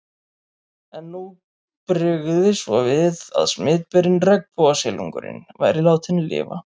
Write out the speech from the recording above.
En nú brygði svo við að smitberinn, regnbogasilungurinn, væri látinn lifa.